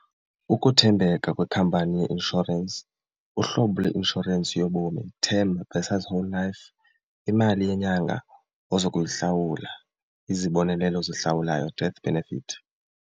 Ukuthembeka kwekhampani yeinshorensi, uhlobo leinshorensi yobomi term versus whole life, imali yenyanga ozokuyihlawula, izibonelelo ezihlawulwayo death benefit.